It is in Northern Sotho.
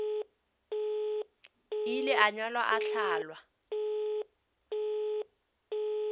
ile a nyalwa a hlalwa